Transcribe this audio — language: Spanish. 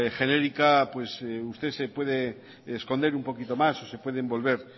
genérica usted se puede esconder un poquito más o se puede envolver